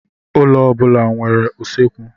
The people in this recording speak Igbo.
Ụlọ ọ bụla na-enwe usekwu.